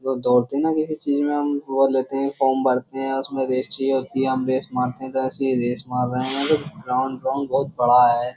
वो दौड़ते हैं ना किसी चीज में हम वो लेते हैं फॉर्म भरते हैं उसमें रेस चाहिए होती है। हम रेस मारते हैं तो ऐसे ही रेस मार रहे हैं ग्राउन्ड ग्राउन्ड बोहोत बड़ा है।